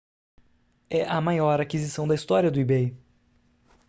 é a maior aquisição da história do ebay